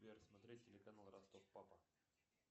сбер смотреть телеканал ростов папа